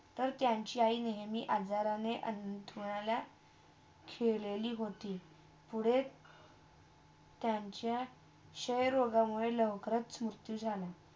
तर त्यांची आई नेहमी आजारने अंतरुणाला खेलेली होती पुढे त्यांचा क्षयरोगा मृत्यू झाला.